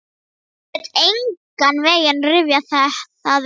Get engan veginn rifjað það upp.